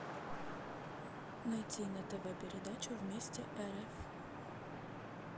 найти на тв передачу вместе рф